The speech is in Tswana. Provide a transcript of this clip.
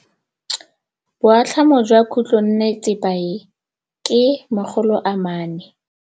Boatlhamô jwa khutlonnetsepa e, ke 400.